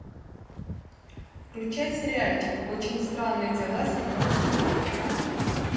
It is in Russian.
включай сериальчик очень странные дела седьмой сезон